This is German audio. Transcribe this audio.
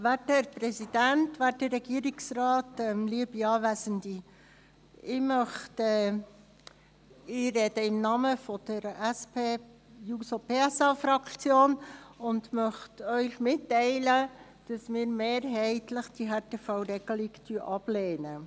Ich spreche im Namen der SP-JUSO-PSA-Fraktion und möchte Ihnen mitteilen, dass wir die Härtefallregelung mehrheitlich ablehnen.